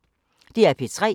DR P3